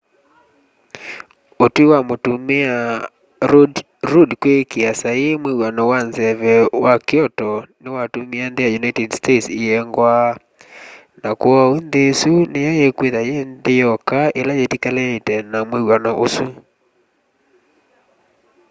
ũtwĩ wa mũtũmĩa rũdd kwĩkĩa saĩĩ mwĩw'ano wa nzeve wa kyoto nĩwatũmĩe nthĩ ya ũnĩted states ĩengwa na kwooũ nthĩ ya ĩsũ nĩyo ĩkwĩtha yĩ nthĩ yoka ĩla yĩtĩkĩlanĩte na mwĩwano ũsũ